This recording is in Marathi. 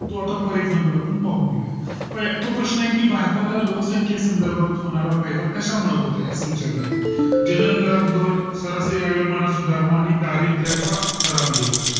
तो आता For Example आपण पाहून घेऊया तो प्रश्न आहे भारताला लोकसंख्येसंदर्भात होणार फायदा कशामुळे होत आहे असं विचारलंय सारामध्ये सुधारणा आणि दारिद्रयाचा घट